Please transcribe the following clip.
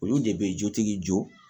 Olu de bɛ jotigi jɔ